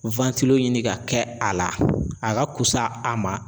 ɲini ka kɛ a la a ka fusa a ma.